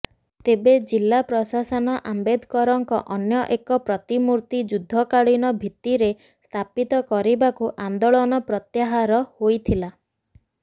ତେବେ ଜିଲ୍ଲା ପ୍ରଶାସନ ଆମ୍ବେଦକରଙ୍କର ଅନ୍ୟ ଏକ ପ୍ରତିମୂର୍ତ୍ତି ଯୁଦ୍ଧକାଳୀନ ଭିତ୍ତିରେ ସ୍ଥାପିତ କରିବାରୁ ଆନ୍ଦୋଳନ ପ୍ରତ୍ୟାହାର ହୋଇଥିଲା